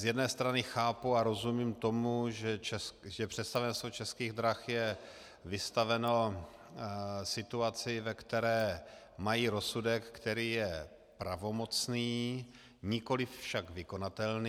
Z jedné strany chápu a rozumím tomu, že představenstvo Českých drah je vystaveno situaci, ve které mají rozsudek, který je pravomocný, nikoliv však vykonatelný.